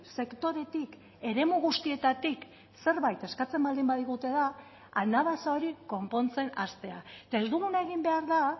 sektoretik eremu guztietatik zerbait eskatzen baldin badigute da anabasa hori konpontzen hastea eta ez duguna egin behar da